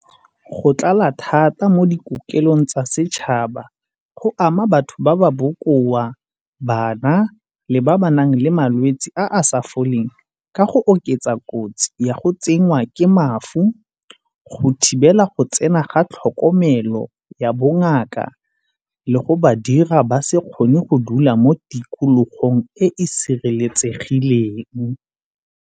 Go tlala thata mo dikokelong tsa setšhaba go ama batho ba ba bokoa, bana le ba ba nang le malwetsi a a sa foleng ka go oketsa kotsi ya go tsenngwa ke mafu, go thibela go tsena ga tlhokomelo ya bongaka le go ba dira ba se kgone go dula mo tikologong e e sireletsegileng.